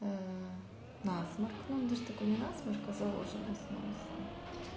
насморк ну даже такой не насморк а заложенность носа